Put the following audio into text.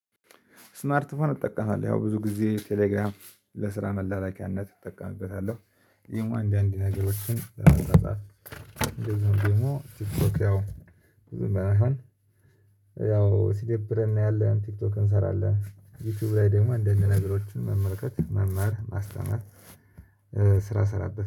ስማርት ፎን እጠቀማለሁ ያው ብዙ ጊዜ ቴሌግራም ለስራ መላላኪያነት እጠቀምበታለሁ ደግሞ አንዳንድ ነገሮችን። እንደዚሁም ደግሞ ቲክቶክ ያው ብዙም ባይሆን ያው ሲደብረን እናያለን ቲክቶክ እንሰራለን ዩቲዩብ ላይ ደግሞ አንድ አንድ ነገሮችን መመልከት መማር ማስተማር። ስራ ሰራበት